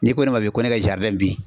N'i ko ne ma ko ne ka bin